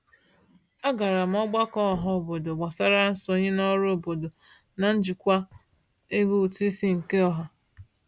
A gara m ọgbakọ ọhaobodo gbasara nsonye n'ọrụ obodo na njikwa ego ụtụisi nke ọha.